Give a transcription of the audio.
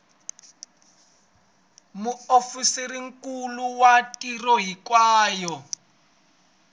muofisirinkulu wa tiko hinkwaro a